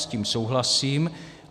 S tím souhlasím.